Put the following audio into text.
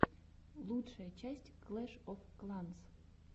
лучшая часть клэш оф кланс